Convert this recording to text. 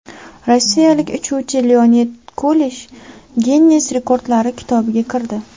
Rossiyalik uchuvchi Leonid Kulesh Ginness rekordlari kitobiga kirdi.